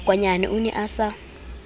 makwanyane o ne a sa